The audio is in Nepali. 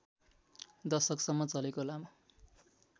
दशकसम्म चलेको लामो